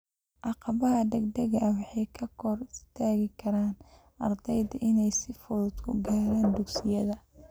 Caqabadaha dhaqdhaqaaqa waxay ka hor istaagi karaan ardayda inay si fudud ku gaaraan dugsiyada.